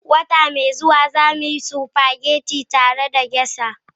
Wata mai zuwa, za mu yi spaghetti tare da Geisha.